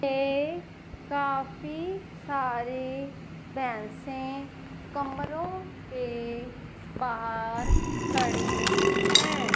ए काफी सारे पैसे कमरों के बाहर खड़े हैं।